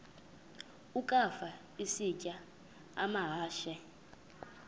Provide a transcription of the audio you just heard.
ukafa isitya amahashe